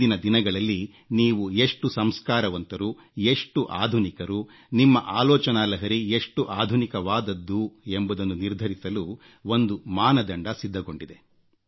ಇಂದಿನ ದಿನಗಳಲ್ಲಿ ನೀವು ಎಷ್ಟು ಸಂಸ್ಕಾರವಂತರು ಎಷ್ಟು ಆಧುನಿಕರು ನಿಮ್ಮ ಆಲೋಚನಾಲಹರಿ ಎಷ್ಟು ಆಧುನಿಕವಾದದ್ದು ಎಂಬುದನ್ನು ನಿರ್ಧರಿಸಲು ಒಂದು ಮಾನದಂಡ ಸಿದ್ಧಗೊಂಡಿದೆ